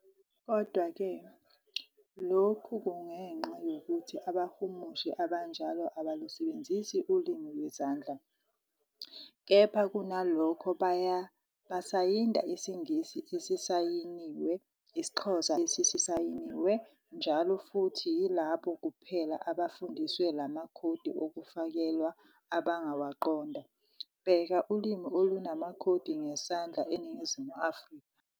Kodwa-ke, lokhu kungenxa yokuthi "abahumushi" abanjalo abalusebenzisi ulimi lwezandla, kepha kunalokho basayinda isiNgisi esisayiniwe, isiXhosa esisayiniwe, njll.,Futhi yilabo kuphela abafundiswe la makhodi okufakelwa abangawaqonda. Bheka ulimi olunamakhodi ngesandla eNingizimu Afrika.